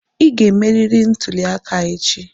Ị ga-emerịrị ntuli aka echi!